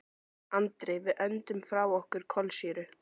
Andri: Við öndum frá okkur kolsýru.